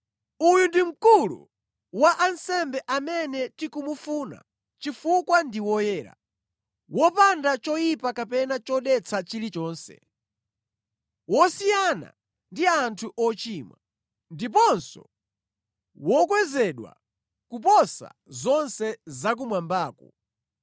Uyu ndi Mkulu wa ansembe amene tikumufuna chifukwa ndi woyera, wopanda choyipa kapena chodetsa chilichonse, wosiyana ndi anthu ochimwa, ndiponso wokwezedwa kuposa zonse zakumwambaku.